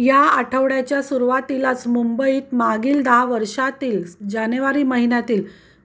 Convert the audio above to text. या आठवडय़ाच्या सुरुवातीलाच मुंबईत मागील दहा वर्षांतील जानेवारी महिन्यातील